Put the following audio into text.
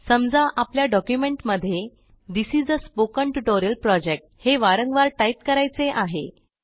समजा आपल्या डॉक्युमेंटमध्ये this is a spoken tutorial project हे वारंवार टाईप करायचे आहे